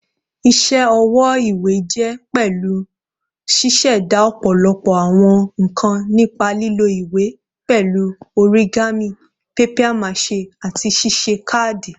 Iṣẹ ọwọ iwe jẹ pẹlu ṣiṣẹda ọpọlọpọ awọn nkan nipa lilo iwe, pẹlu origami, papier-mâché, ati ṣiṣe kaadi.